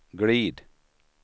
glid